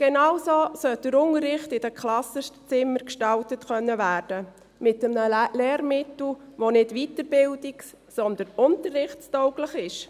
Genauso sollte der Unterricht in den Klassenzimmern gestaltet werden können: mit einem Lehrmittel, das nicht weiterbildungs-, sondern unterrichtstauglich ist.